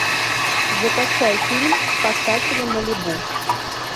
закачай фильм спасатели малибу